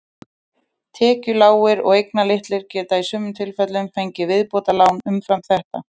Tekjulágir og eignalitlir geta í sumum tilfellum fengið viðbótarlán umfram þetta.